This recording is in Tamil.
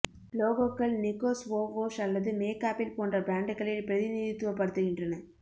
லோகோக்கள் நிக்கோ ஸ்வோவோஷ் அல்லது மேக் ஆப்பிள் போன்ற பிராண்டுகளை பிரதிநிதித்துவப்படுத்துகின்றன